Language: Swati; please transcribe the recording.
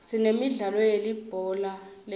sinemidlalo yelibhola letandla